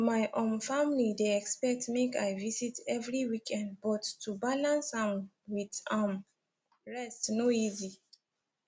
my um family dey expect make i visit every weekend but to balance am with um rest no easy